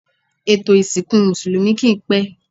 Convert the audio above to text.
Ètò isìnkú Mùsùlùmí kì ń pẹ́.